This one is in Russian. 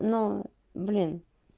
но блин